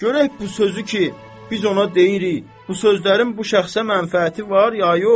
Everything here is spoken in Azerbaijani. Görək bu sözü ki biz ona deyirik, bu sözlərin bu şəxsə mənfəəti var, ya yox?